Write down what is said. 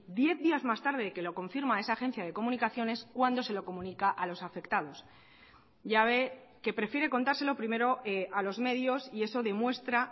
diez días más tarde de que lo confirma esa agencia de comunicaciones cuando se lo comunica a los afectados ya ve que prefiere contárselo primero a los medios y eso demuestra